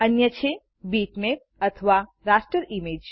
અન્ય છે બીટમેપ અથવા રાસ્ટર ઈમેજ